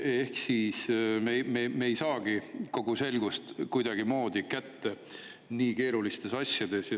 Ehk siis me ei saagi nii keerulistes asjades kogu selgust kuidagimoodi kätte.